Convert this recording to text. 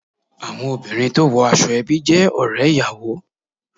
Àwọn obìnrin tó wo aṣọ ẹbí jé òré ìyàwó